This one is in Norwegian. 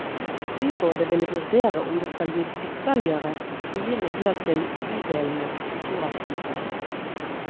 Byrådet vil vurdere om det skal gis ytterligere frie midler til bydelenes kulturaktivitet.